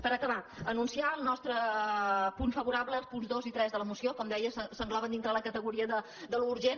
per acabar anunciar el nostre vot favorable als punts dos i tres de la moció com deia s’engloben dintre de la categoria de l’urgent